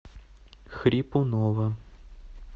хрипунова